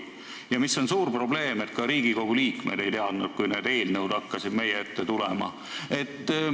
Ja suur probleem on see, et ka Riigikogu liikmed ei teadnud asjast, kui need eelnõud hakkasid siia meie ette tulema.